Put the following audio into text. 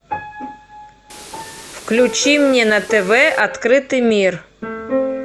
включи мне на тв открытый мир